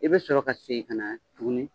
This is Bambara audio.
I bɛ sɔrɔ ka segin ka na tugunni.